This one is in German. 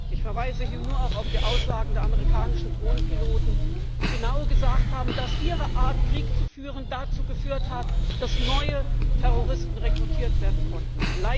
Ich verweise hier auch auf die Aussagen der amerikanischen Drohnenpiloten, die genau gesagt haben, dass ihre Art, Krieg zu führen, dazu geführt hat, dass neue Terroristen rekrutiert werden konnten.